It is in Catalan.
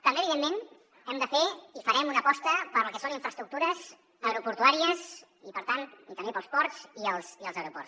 també evidentment hem de fer i farem una aposta pel que són infraestructures aeroportuàries i per tant i també per als ports i els aeroports